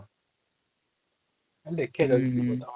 ଦେଖିଆ ଯଦି ହଁ